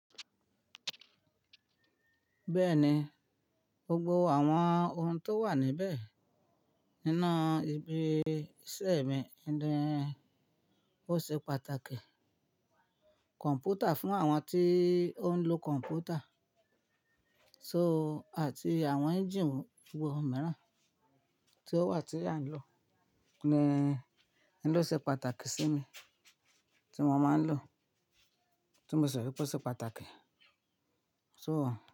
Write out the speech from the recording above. Bẹ́ẹ̀ni, gbogbo àwọn ohun tó wà níbẹ̀ nínú ibi iṣẹ́ mi ni ó ṣe pàtàkì. Kọ̀m̀pútà fún àwọn tí ó ń lo kọ̀m̀pútà, to àti àwọn ẹ́ńjíìnì gbogbo mìíràn tí ó wà tí a ń lò ni ẹ́ lò ṣe pàtàkì sí mi tí mo máa ń lò, tí mo ṣẹ̀ wípé ó ṣe pàtàkì, to.